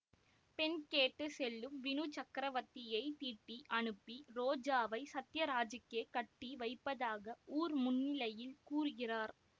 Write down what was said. பெண் கேட்டு செல்லும் வினு சக்ரவர்த்தியைத் திட்டி அனுப்பி ரோஜாவை சத்தியராஜுக்கே கட்டி வைப்பதாக ஊர் முன்னிலையில் கூறுகிறார்